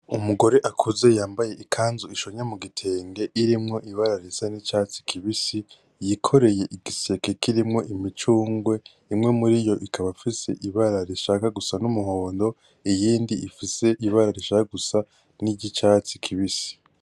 umugore akuze yambaye ikanzu ishonye mugitenge irimwo ibara risa nicatsi kibisi yikoreye igiseke kirimwo imicungwe imwe muriyo ikaba ifise ibara rishaka gusa numuhondo iyindi ifise ibara rishaka gusa niryicatsi kibisi